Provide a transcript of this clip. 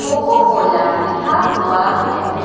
Cocoa Cola लिखा हुआ है।